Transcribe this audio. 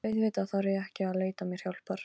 Auðvitað þarf ég ekki að leita mér hjálpar.